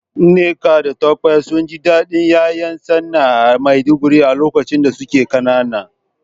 Nneka da Tope sun ji dadin ’ya’yan tsana a Maiduguri a lokacin da suke kanana.